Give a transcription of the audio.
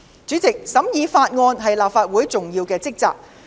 主席，審議法案是立法會的重要職責。